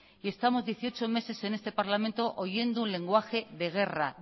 y estamos dieciocho meses en este parlamento oyendo un lenguaje de guerra